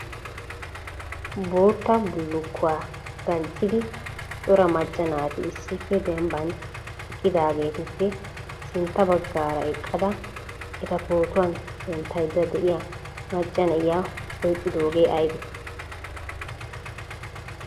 Bootta bullukkuwa danccidi cora macca naati issippe dembban eqqidaageetuppe sintta baggaara eqqada eta pootuwan denttaydda de'iya macca na'iya ouqqidoogee aybbe?